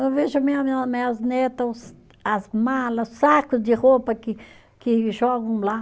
Eu vejo minhas netas, as malas, saco de roupa que que jogam lá.